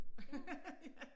Ja